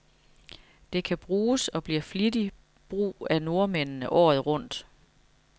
Det kan bruges, og bliver flittigt brug af nordmændene, året rundt.